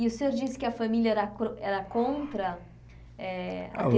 E o senhor disse que a família era cron era contra? Eh